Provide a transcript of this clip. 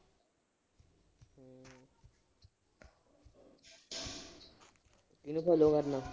ਕਿਹਨੂੰ follow ਕਰਨਾ